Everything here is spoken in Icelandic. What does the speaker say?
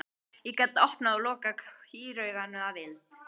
Ég gat opnað og lokað kýrauganu að vild.